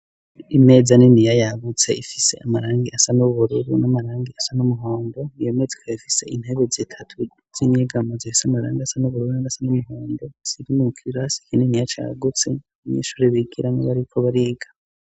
Imeza niniya yagutse ifise amarangi asa n'ububururu n'amarangi asa n'umuhondo iyomeza ikaba ifise intebe zitatu z'inyegamo zifise amarangi asa n'ubururu n'asa n'umuhondo ziri mukirasi kininiya cagutse abanyeshure bigiramwo bariko bariga.